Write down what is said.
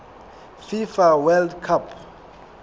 fifa world cup